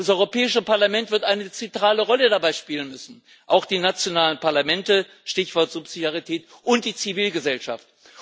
Das Europäische Parlament wird eine zentrale Rolle dabei spielen müssen, auch die nationalen Parlamente Stichwort Subsidiarität und die Zivilgesellschaft.